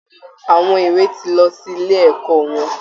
Àwọn èwè ti lọ sí ilé ẹ̀kọ́ wọn